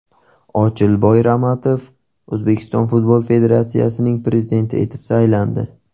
Ochilboy Ramatov O‘zbekiston Futbol Federatsiyasining prezidenti etib saylandi .